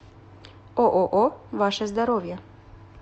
ооо ваше здоровье